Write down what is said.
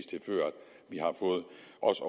også